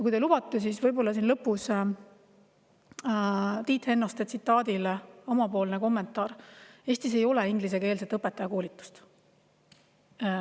Kui te lubate, siis siin lõpus Tiit Hennoste tsitaadi kohta kommentaar: Eestis ei ole ingliskeelset õpetajakoolitust.